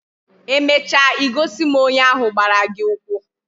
Emecha I gosi m onye ahu gbara gi ukwu